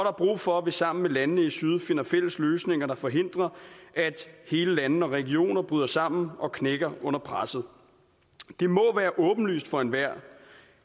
er brug for at vi sammen med landene i syd finder fælles løsninger der forhindrer at hele lande og regioner bryder sammen og knækker under presset det må være åbenlyst for enhver